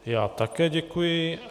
Já také děkuji.